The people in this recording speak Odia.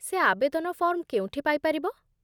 ସେ ଆବେଦନ ଫର୍ମ କେଉଁଠି ପାଇପାରିବ?